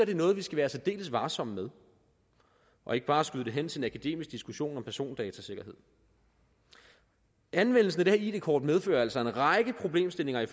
er noget vi skal være særdeles varsomme med og ikke bare skyde det hen til en akademisk diskussion om persondatasikkerhed anvendelsen af det her id kort medfører altså en række problemstillinger i